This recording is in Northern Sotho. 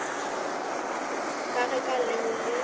ka ge ka leo le